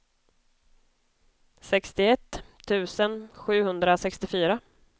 sextioett tusen sjuhundrasextiofyra